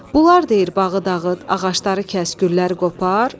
Bunlar deyir bağı dağıt, ağacları kəs, gülləri qopar.